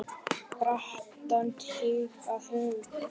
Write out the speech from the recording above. brattan stíg að baugi